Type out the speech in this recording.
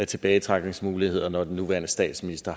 tilbagetrækningsmuligheder når den nuværende statsminister